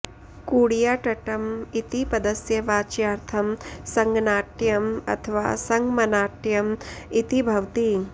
कूडियाट्टम् इति पदस्य वाच्यार्थं सङ्गनाट्यम् अथवा सङ्गमनाट्यम् इति भवति